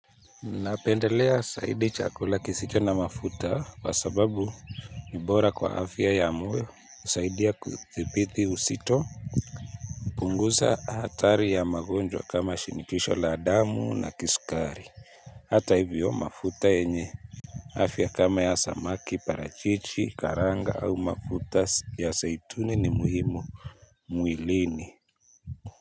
Napendelea saidi chakula kisicho na mafuta kwa sababu ni bora kwa afya ya moyo usaidia kudhipithi usito. Punguza hatari ya magonjwa kama shinikisho la adamu na kisukari. Hata hivyo mafuta yenye afya kama ya samaki parachichi karanga au mafuta ya saituni ni muhimu mwilini.